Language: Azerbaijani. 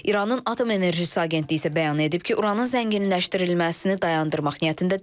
İranın Atom Enerjisi Agentliyi isə bəyan edib ki, uranın zənginləşdirilməsini dayandırmaq niyyətində deyil.